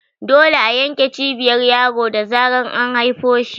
Dole a yanke Cibiyar yaro da zarar an haifo shi